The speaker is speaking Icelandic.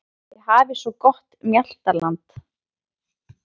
Þið hafið svo gott mjaltaland.